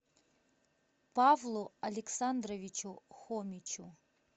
павлу александровичу хомичу